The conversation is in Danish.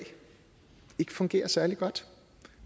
fungerer særlig godt